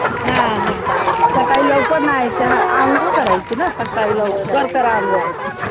हा हा सकाळी लवकर न्हायचं अंघोळ करायची ना सकाळी लवकर करा अंघोळ